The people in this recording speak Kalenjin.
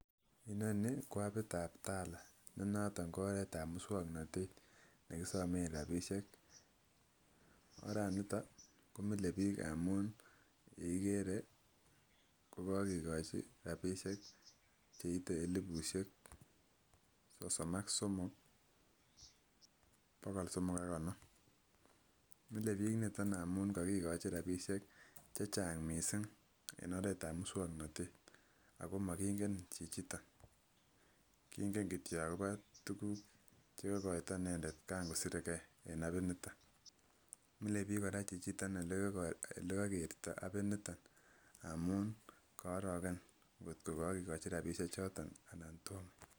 Inoni ko apit ab tala ne noton ko oret ab muswoknotet nekisomen rabishek, oraniton komile bik ngamun yekikere kokokikochi rabishek cheite elibushek sosom ak somok bokol somok ak konom, mile bik niton ngamun kokikochin rabinik chechang missing en oret ab muswoknotet ako mokinge chichiton kingen kityok akobo tukuk chekokoito inendet kan kosire gee en apit niton. Mile bik koraa chichiton ole kokerto apiniton amun kooroken kotko kokikochi rabishek choton anan tomo.